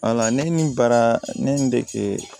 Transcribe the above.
ne ni bara ne ye n dege